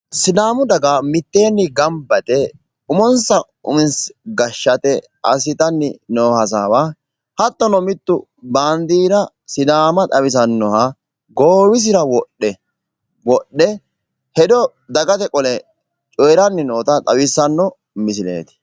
Sidaamu daga mitteenni gamba yite umonsa uminsa gashshate gamba yite hasaambanni noota xawissanno misileeti.